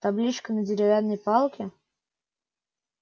табличка на деревянной палке